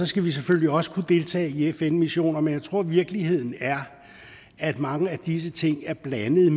skal vi selvfølgelig også kunne deltage i fn missioner men jeg tror at virkeligheden er at mange af disse ting er blandede